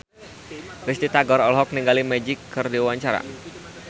Risty Tagor olohok ningali Magic keur diwawancara